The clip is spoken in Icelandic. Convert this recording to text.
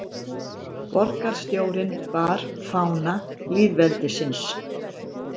Borgarstjórinn bar fána lýðveldisins